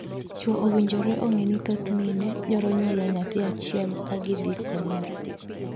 Chwo owinjore ong'ee ni thoth mine thoro nyuolo nyathi achiel ka gidhii konyore.